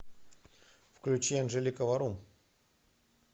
включи анжелика варум